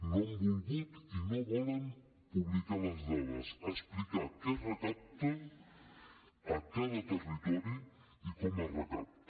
no han volgut i no volen publicar les dades explicar què es recapta a cada territori i com es recapta